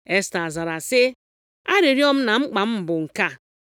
Esta zara sị, “Arịrịọ m na mkpa m bụ nke a,